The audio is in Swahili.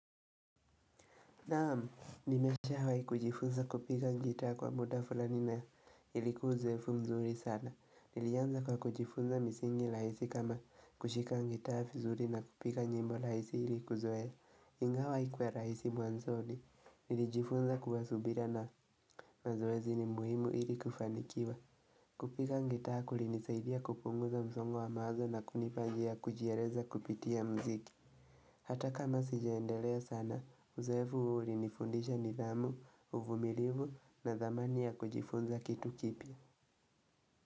Naam nimeshawai kujifunza kupiga ngitaa kwa muda fulani na ilikuwa uzoefu mzuri sana Nilianza kwa kujifunza misingi raisi kama kushika ngitaa fizuri na kupiga nyimbo raisi ilikuzoea Ingawa haikuwa raisi mwanzoni Nilijifunza kuwasubira na mazoezi ni muhimu ili kufanikiwa kupiga ngitaa kulinisaidia kupunguza msongo wa mawazo na kunipa njia kujiereza kupitia mziki Hata kama sijaendelea sana, uzoefu huu ulinifundisha ni dhamu, uvumilivu na dhamani ya kujifunza kitu kipya.